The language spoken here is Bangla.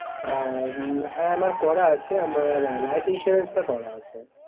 আহ হ্যাঁ আমার করা আছে। আমার Life insurance টা করা আছে